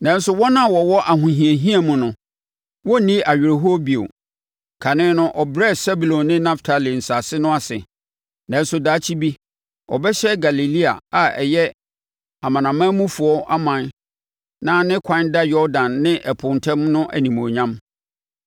Nanso, wɔn a na wɔwɔ ahohiahia mu no, wɔrenni awerɛhoɔ bio. Kane no ɔbrɛɛ Sebulon ne Naftali nsase no ase, nanso daakye bi ɔbɛhyɛ Galilea a ɛyɛ amanamanmufoɔ ɔman na ne kwan da Yordan ne ɛpo ntam no animuonyam.